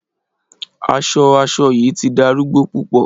Aṣọ aṣọ yii ti darugbo pupọ